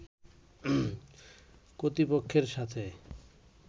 কর্তৃপক্ষের সাথে